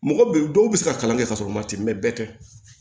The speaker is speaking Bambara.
Mɔgɔ bɛ dɔw bɛ se ka kalan kɛ ka sɔrɔ u ma ten bɛɛ tɛ